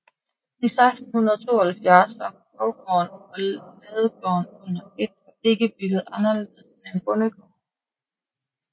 I 1672 var borggården og ladegården under et og ikke bygget anderledes end en bondegård